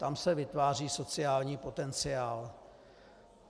Tam se vytváří sociální potenciál.